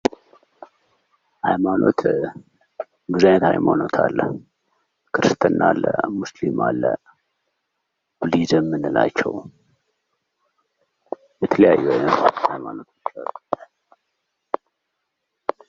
ሀይማኖት:- ብዙ አይነት ሀይማኖት አለ። ክርስትና፣ እስልምና፣ ቡዲህዝም የምንላቸው የተለያዩ አይነት ሀይማኖቶች አሉ።